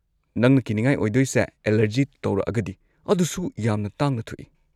ꯅꯪꯅ ꯀꯤꯅꯤꯉꯥꯏ ꯑꯣꯏꯗꯣꯏꯁꯦ ꯑꯦꯂꯔꯖꯤ ꯇꯧꯔꯛꯑꯒꯗꯤ, ꯑꯗꯨꯁꯨ ꯌꯥꯝꯅ ꯇꯥꯡꯅ ꯊꯣꯛꯏ꯫